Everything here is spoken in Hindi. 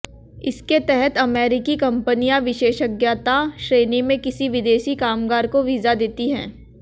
इसके तहत अमेरिकी कंपनियां विशेषज्ञता श्रेणी में किसी विदेशी कामगार को वीजा देती हैं